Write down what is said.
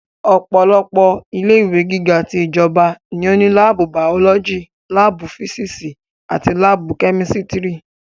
Ọ̀pọ̀lọpọ̀ ilé ìwé gíga ti ìjọba ní ó ní láàbù bàọ́lọ́jì, láàbù físísì àti láàbù kẹ́mísítírì